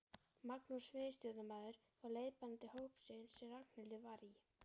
Magnús miðstjórnarmaður var leiðbeinandi hópsins sem Ragnhildur var í.